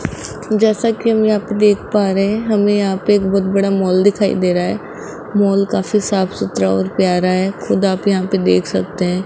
जैसा कि हम यहां पे देख पा रहे है हमें यहां पे एक बहोत बड़ा मॉल दिखाई दे रहा है मॉल काफी साफ सुथरा और प्यारा है खुद आप यहां पे देख सकते है।